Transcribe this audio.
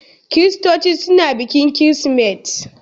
Kiristoci suna bikin Kirsimeti.